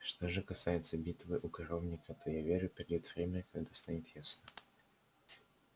что же касается битвы у коровника то я верю придёт время когда станет ясно